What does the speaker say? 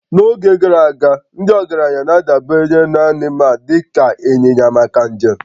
n'oge gara aga, ndị ọgaranya na-adabere na anụmanụ dị ka ịnyịnya maka njem